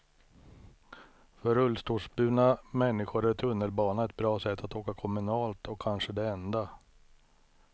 För rullstolsburna människor är tunnelbana ett bra sätt att åka kommunalt, och kanske det enda.